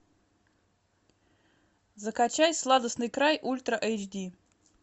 закачай сладостный край ультра эйч ди